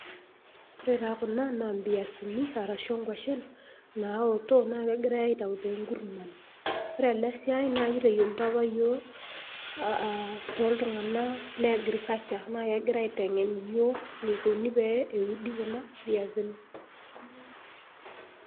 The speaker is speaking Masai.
Ore taa kuna naa embiasini arashu inguashen naaotok naa kegirai aitayu tenkurrman. Ore ena siai naa ekitayioloito apa yiiok aa too tunganak le agriculture naa kegira aitengen iyiook eneikoni pee euni kuni viasini.